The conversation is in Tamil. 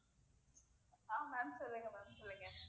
ஆஹ் ma'am சொல்லுங்க ma'am இருக்கேன்